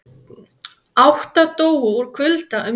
Átta dóu úr kulda um jólin